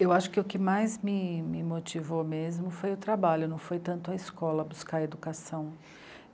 Eu acho que o que mais me, me motivou mesmo foi o trabalho, não foi tanto a escola buscar educação.